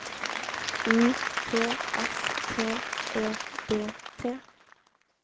U T S T E D T